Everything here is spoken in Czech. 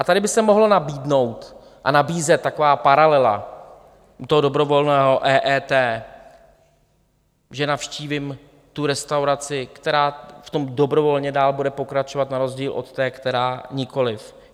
A tady by se mohla nabídnout a nabízet taková paralela toho dobrovolného EET, že navštívím tu restauraci, která v tom dobrovolně dál bude pokračovat na rozdíl od té, která nikoliv.